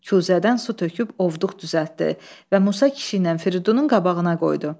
Kuzədən su töküb ovduq düzəltdi və Musa kişi ilə Firidunun qabağına qoydu.